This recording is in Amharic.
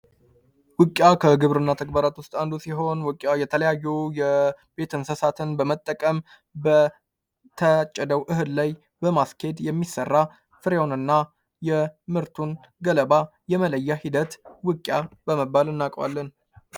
ውቂያ ከግብርና ተግባራት ውስጥ አንዱ ሲሆን የተለያዩ የቤተ እንስሳትን በመጠቀም በታጨደው እህል ላይ በማስኬድ የሚሠራ ፍሬውንና የምርቱን ገለባ የመለያ ሂደት ውቂያ በመባል እናውቀዋለን።